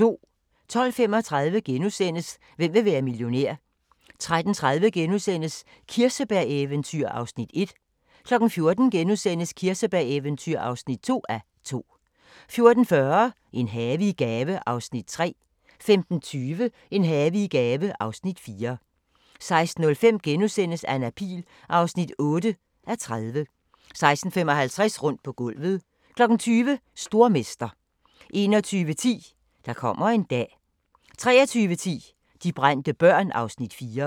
12:35: Hvem vil være millionær? * 13:30: Kirsebæreventyr (1:2)* 14:00: Kirsebæreventyr (2:2)* 14:40: En have i gave (Afs. 3) 15:20: En have i gave (Afs. 4) 16:05: Anna Pihl (8:30)* 16:55: Rundt på gulvet 20:00: Stormester 21:10: Der kommer en dag 23:10: De brændte børn (Afs. 4)